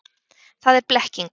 Það er blekking.